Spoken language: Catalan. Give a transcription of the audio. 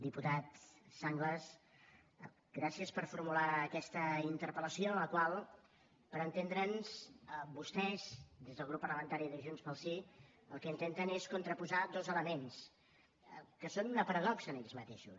diputat sanglas gràcies per formular aquesta interpel·lació en la qual per entendre’ns vostès des del grup parlamentari de junts pel sí el que intenten és contraposar dos elements que són una paradoxa en ells mateixos